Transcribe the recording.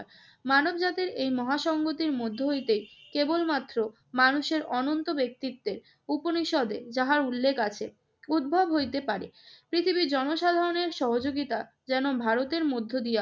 মানবজাতির এই মহাসংগতির মধ্য হইতে কেবলমাত্র মানুষের অনন্ত ব্যক্তিত্বের উপনিষদে যাহার উল্লেখ আছে উদ্ভব হইতে পারে। পৃথিবীর জনসাধারণের সহযোগিতা যেন ভারতের মধ্য দিয়া